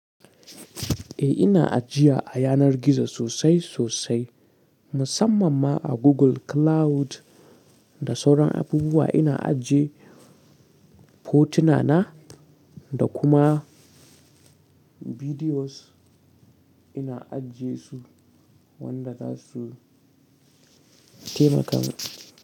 Eh ina ajiya a yanar gizo sosai sosai, musamman ma a Google Cloud da sauran abubuwa ina ajiye fotuna na da kuma bidiyos ina ajiyesu wanda zasu taimaka mun.